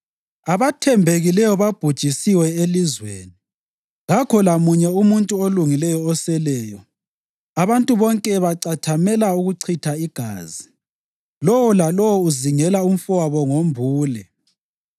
Abathembekileyo babhujisiwe elizweni, kakho lamunye umuntu olungileyo oseleyo. Abantu bonke bacathamela ukuchitha igazi; lowo lalowo uzingela umfowabo ngombule.